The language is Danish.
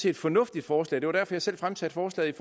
et fornuftigt forslag det var derfor jeg selv fremsatte forslaget